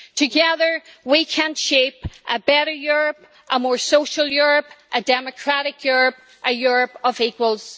Together we can shape a better Europe, a more social Europe, a democratic Europe, a Europe of equals.